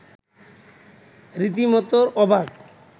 রীতিমত অবাক